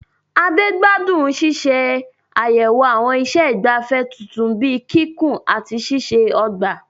Ade gbádùn ṣíṣe àyẹ̀wò àwọn iṣẹ́ ìgbafẹ́ tuntun bíi kíkùn àti ṣíṣe ọgbà.